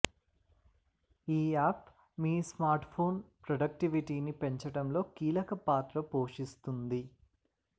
ఈ యాప్ మీ స్మార్ట్ఫోన్ ప్రొడక్టివిటీని పెంచటంలో కీలక పాత్ర పోషిస్తుంది